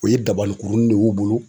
U ye dabanin kurunin ne y'u bolo.